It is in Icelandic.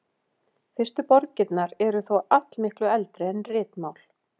Fyrstu borgirnar eru þó allmiklu eldri en ritmál.